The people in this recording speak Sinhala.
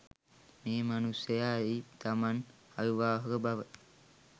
මේ මනුස්සය ඇයි තමන් අවිවාහක බව